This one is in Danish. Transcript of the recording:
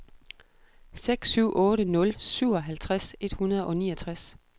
seks syv otte nul syvoghalvtreds et hundrede og niogtres